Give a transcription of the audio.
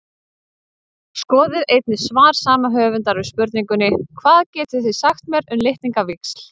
Skoðið einnig svar sama höfundar við spurningunni Hvað getið þið sagt mér um litningavíxl?